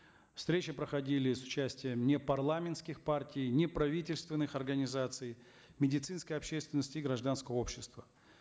встречи проходили с участием непарламентских партий неправительственных организаций медицинской общественности и гражданского общества